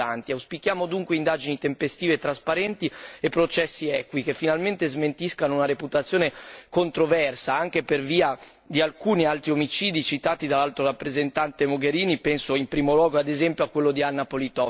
Auspichiamo dunque indagini tempestive e trasparenti e processi equi, che finalmente smentiscano una reputazione controversa, anche per via di alcuni altri omicidi citati dall'Alto rappresentante Mogherini penso in primo luogo ad esempio a quello di Anna Politkovskaya.